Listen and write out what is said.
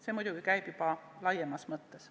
Seda ma ütlen muidugi juba laiemas mõttes.